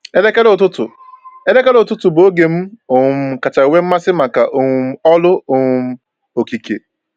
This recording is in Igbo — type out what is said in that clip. Elekere ụtụtụ Elekere ụtụtụ bụ oge m um kacha nwee mmasị maka um ọrụ um okike.